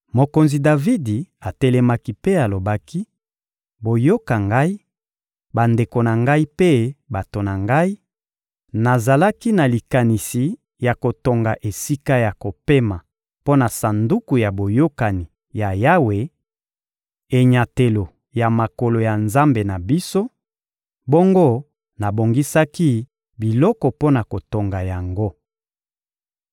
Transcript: Mokonzi Davidi atelemaki mpe alobaki: — Boyoka ngai, bandeko na ngai mpe bato na ngai: Nazalaki na likanisi ya kotonga esika ya kopema mpo na Sanduku ya Boyokani ya Yawe, enyatelo ya makolo ya Nzambe na biso; bongo nabongisaki biloko mpo na kotonga yango.